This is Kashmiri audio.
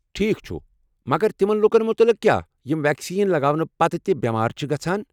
ٹھیک چھٗ، مگر تمن لوٗکن متعلق کیٛاہ یم ویكسین لگاونہٕ پتہٕ تہِ بٮ۪مار چھِ گژھان؟